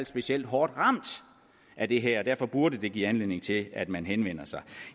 specielt hårdt ramt af det her derfor burde det give anledning til at man henvender sig